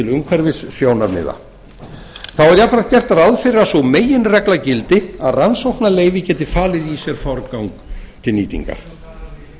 umhverfissjónarmiða þá er jafnframt gert ráð fyrir að sú meginregla gildir að rannsóknarleyfi geti falið í sér forgang til nýtingar